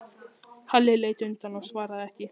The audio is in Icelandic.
Halli leit undan og svaraði ekki.